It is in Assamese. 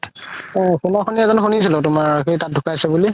শুনিছিলো তুমাৰ সি তাত ধুকাইছে বুলি